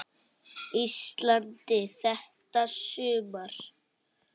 Íslandi þetta sumar.